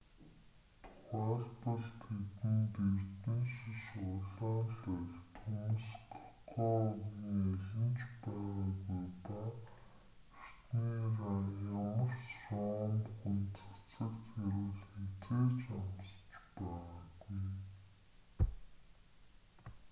тухайлбал тэдэнд эрдэнэшиш улаан лооль төмс кокоагын аль нь ч байгаагүй ба эртний ямар ч ром хүн цацагт хяруул хэзээ ч амсаж байгаагүй